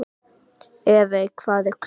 Evey, hvað er klukkan?